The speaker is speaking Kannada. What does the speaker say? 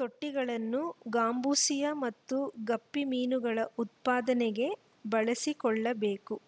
ತೊಟ್ಟಿಗಳನ್ನು ಗಾಂಬೂಸಿಯಾ ಮತ್ತು ಗಪ್ಪಿ ಮೀನುಗಳ ಉತ್ಪಾದನೆಗೆ ಬಳಸಿಕೊಳ್ಳಬೇಕು